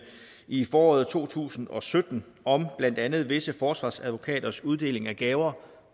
i foråret to tusind og sytten om blandt andet visse forsvarsadvokaters uddeling af gaver